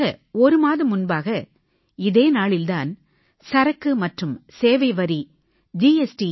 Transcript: சரியாக ஒரு மாதம் முன்பாக இதே நாளில் தான் சரக்கு மற்றும் சேவை வரி ஜி